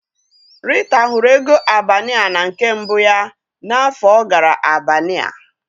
Rita hụrụ ego Albania na nke mbụ ya n'afọ ọ gara Albania.